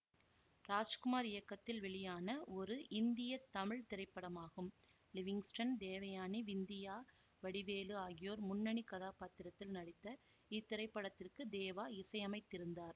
ராஜ்குமார் இயக்கத்தில் வெளியான ஒரு இந்திய தமிழ் திரைப்படமாகும் லிவிங்ஸ்டன் தேவயானி விந்தியா வடிவேலு ஆகியோர் முன்னணி கதாபாத்திரத்தில் நடித்த இத்திரைப்படத்திற்கு தேவா இசையமைத்திருந்தார்